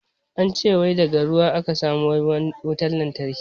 An ce wai daga ruwa a ka samo wutan lantarki.